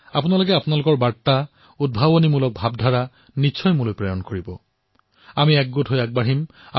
আমি সকলোৱে ঐক্যৱদ্ধভাৱে আগবাঢ়িম